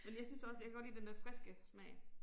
Men jeg synes også jeg kan godt lide den dér friske smag